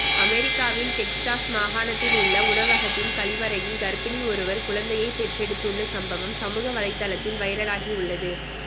அமெரிக்காவின் டெக்சாஸ் மாகாணத்தில் உள்ள உணவகத்தின் கழிவறையில் கர்ப்பிணி ஒருவர் குழந்தையை பெற்றெடுத்துள்ள சம்பவம் சமூக வலைத்தளத்தில் வைரலாகி உள்ளது